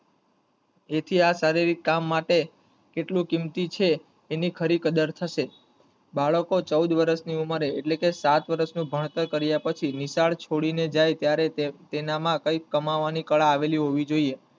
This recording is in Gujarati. તેથી આ શારીરિક કામ માટે કેટલું કિંમતી છે તેની ખરી કદર થશે બાળકો ચઉદ વર્ષ ની ઉંમરે એટલે કે સાત વર્ષ નું ભણતર કરિયા પછી નિશાળ છોડી ને જાય ત્યારે તેના માં કંઈક કમાવાની કળા આવેલી હોવી જોયે